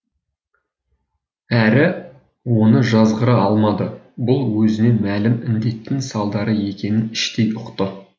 әрі оны жазғыра алмады бұл өзіне мәлім індеттің салдары екенін іштей ұқты